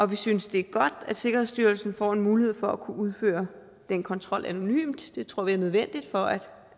vi synes det er godt at sikkerhedsstyrelsen får en mulighed for at kunne udføre den kontrol anonymt det tror vi er nødvendigt for